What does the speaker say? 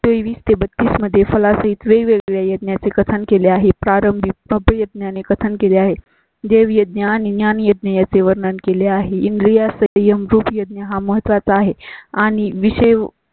-तेवीस ते बत्तीस मध्ये फलसित वेगवेगळ्या यज्ञां कथन केले आहे. प्रारंभी पब्या ने कथन केली आहे. देव यज्ञा आणि ज्ञान येते याचे वर्णन केले आहे. इंद्रिय स्वयंभू यज्ञा हा महत्वा चा आहे आणि विषयी